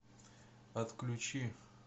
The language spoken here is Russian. отключи